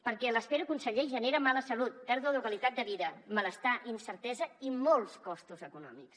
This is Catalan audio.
perquè l’espera conseller genera mala salut pèrdua de qualitat de vida malestar incertesa i molts costos econòmics